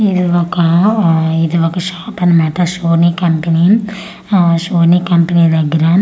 ఇది ఒక ఆ ఇది ఒక షాప్ అన్నమాట షోని కంపనీ యా షోని కంపనీ దేగ్గరా --